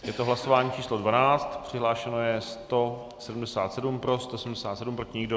Je to hlasování číslo 12, přihlášeno je 177, pro 177, proti nikdo.